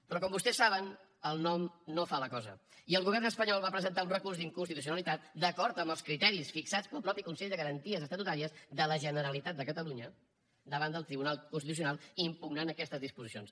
però com vostès saben el nom no fa la cosa i el govern espanyol va presentar un recurs d’inconstitucionalitat d’acord amb els criteris fixats pel mateix consell de garanties estatutàries de la generalitat de catalunya davant del tribunal constitucional per impugnar aquestes disposicions